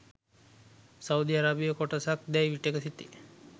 Saudi අරාබියේ කොටසක් දැයි විටෙක සිතේ.